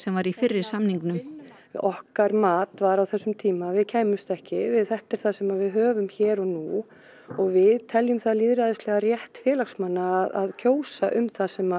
var í fyrri samningnum okkar mat var á þessum tíma var að við kæmumst ekki þetta er það sem við höfum hér og nú og við teljum það lýðræðislegan rétt félagsmanna að kjósa um það sem